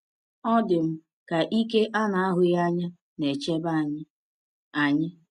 Ọ dị m ka ike a na-ahụghị anya na-echebe anyị. anyị.